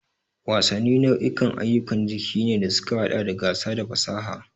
Wasanni nau'ikan ayyukan jiki ne da suka haɗa da gasa da fasaha.